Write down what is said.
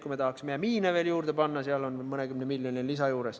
Kui tahaksime ka miine juurde, siis tuleks veel mõnikümmend miljonit lisada.